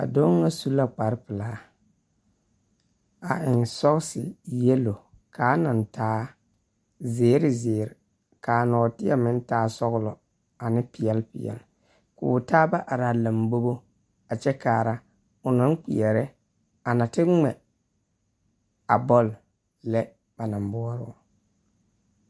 A doɔ na su la kparo pulaa. A eŋ sɔsi yɛlo kaa na taa ziir ziir kaa norteɛ meŋvtaa sɔglɔ ane piɛli piɛli. Ka o taaba are a lambogo a kyɛ kaara o na kpeɛre a na te gmɛ a boli lɛ bana buoro